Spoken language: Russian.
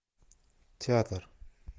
театр